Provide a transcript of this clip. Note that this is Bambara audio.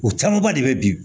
O camanba de bɛ bi